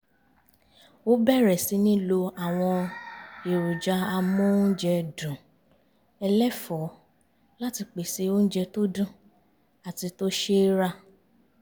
ó bẹ̀rẹ̀ sì ní lo àwọn èròjà amóúnjẹ-dùn ẹlẹ́fọ̀ọ́ láti pèsè oúnjẹ tó dùn àti tó ṣe é rà